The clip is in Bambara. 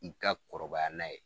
I ka kɔrɔbaya n'a ye.